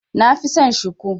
Nafi son Shiku.